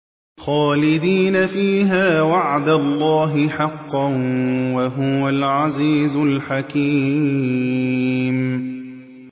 خَالِدِينَ فِيهَا ۖ وَعْدَ اللَّهِ حَقًّا ۚ وَهُوَ الْعَزِيزُ الْحَكِيمُ